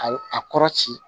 Ka a kɔrɔ ci